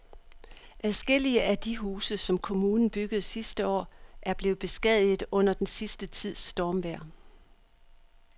Adskillige af de huse, som kommunen byggede sidste år, er blevet beskadiget under den sidste tids stormvejr.